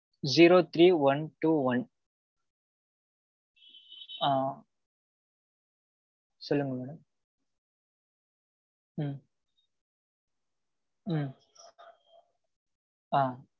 zero three one two one ஆ சொல்லுங்க madam ம் ம் ஆ